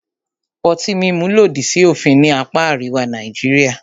Ọtí mímu lòdì sí òfin ní apá àríwá Nàìjíríà.